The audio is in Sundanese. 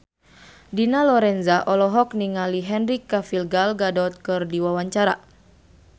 Dina Lorenza olohok ningali Henry Cavill Gal Gadot keur diwawancara